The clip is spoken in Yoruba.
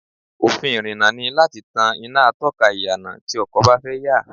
Òfin ìrìnnà ni láti tan iná atọ́ka ìyànà tí ọkọ̀ bá fẹ́ yà